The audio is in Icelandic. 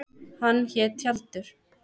Hann hét Tjaldur.